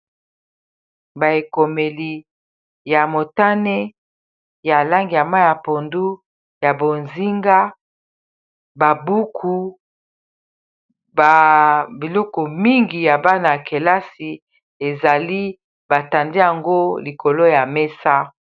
baekomeli ya motane ya lange ya ma ya pondu ya bozinga babuku biloko mingi ya bana ya kelasi ezali batandi yango likolo ya mesa